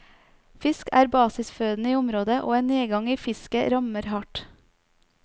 Fisk er basisføden i området, og en nedgang i fisket rammer hardt.